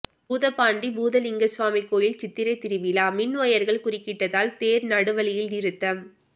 பூதப்பாண்டி பூதலிங்கசுவாமி கோயில் சித்திரை திருவிழா மின் ஒயர்கள் குறுக்கிட்டதால் தேர் நடுவழியில் நிறுத்தம்